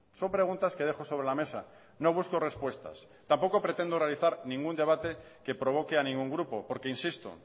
son preguntas que dejo sobre la mesa no busco respuestas tampoco pretendo realizar ningún debate que provoque a ningún grupo porque insisto